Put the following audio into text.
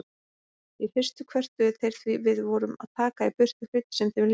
Í fyrstu kvörtuðu þeir því við vorum að taka í burtu hluti sem þeim líkaði.